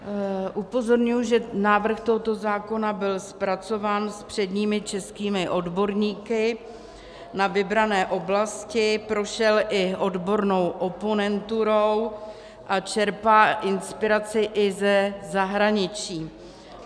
Upozorňuji, že návrh tohoto zákona byl zpracován s předními českými odborníky na vybrané oblasti, prošel i odbornou oponenturou a čerpá inspiraci i ze zahraničí.